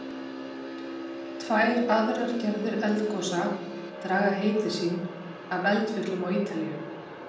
Tvær aðrar gerðir eldgosa draga heiti sín af eldfjöllum á Ítalíu.